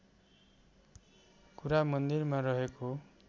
कुरा मन्दिरमा रहेको